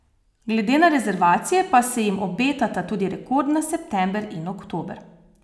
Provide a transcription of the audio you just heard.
Glede na rezervacije pa se jim obetata tudi rekordna september in oktober.